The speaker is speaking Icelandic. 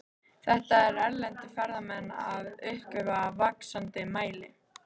Þetta eru erlendir ferðamenn að uppgötva í vaxandi mæli.